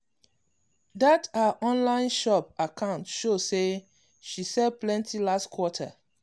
that her online shop account show say she sell plenty last quarter.